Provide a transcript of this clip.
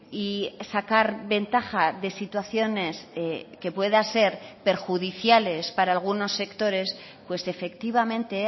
y sacar ventaja de situaciones que pueda ser perjudiciales para algunos sectores pues efectivamente